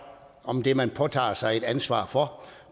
om det man påtager sig et ansvar for